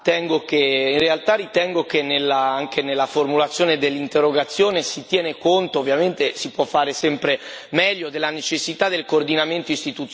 In realtà ritengo che anche nella formulazione dell'interrogazione, si tenga conto ovviamente, si può fare sempre meglio della necessità del coordinamento istituzionale.